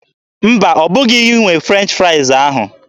Mba, ọbụghị gị nwe French fraịz ahụ.